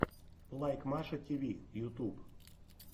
лайк маша тиви ютуб